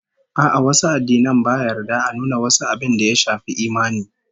A'a, wasu addinan ba yarda a nuna wasu abin da ya shafi imani